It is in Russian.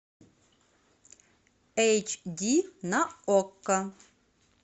эйч ди на окко